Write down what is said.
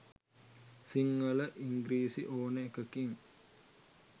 සිංහල ඉංග්‍රිසි ඕන එකකින්